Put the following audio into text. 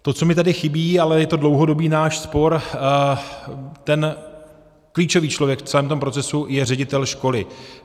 To, co mi tady chybí, ale je ten dlouhodobý náš spor - ten klíčový člověk v celém tom procesu je ředitel školy.